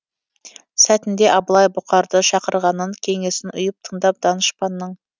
сәтінде абылай бұқарды шақырғанын кеңесін ұйып тыңдап данышпанның